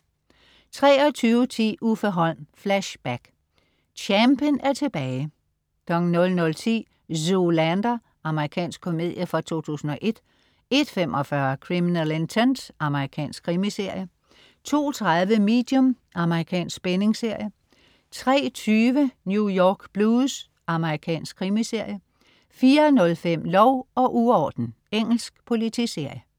23.10 Uffe Holm. Flashback. Champen er tilbage! 00.10 Zoolander. Amerikansk komedie fra 2001 01.45 Criminal Intent. Amerikansk krimiserie 02.30 Medium. Amerikansk spændingsserie 03.20 New York Blues. Amerikansk krimiserie 04.05 Lov og uorden. Engelsk politiserie